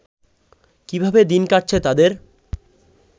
কীভাবে দিন কাটছে তাদের